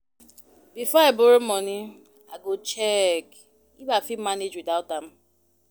Before I borrow money, I go check if I fit manage without am.